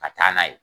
Ka taa n'a ye